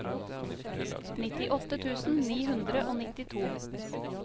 nittiåtte tusen ni hundre og nittito